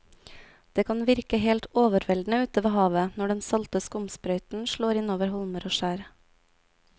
Det kan virke helt overveldende ute ved havet når den salte skumsprøyten slår innover holmer og skjær.